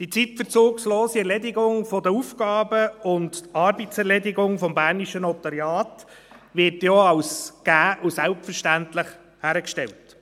Die zeitverzugslose Erledigung der Aufgaben und die Arbeitserledigung des bernischen Notariats werden auch als gegeben und selbstverständlich hingestellt.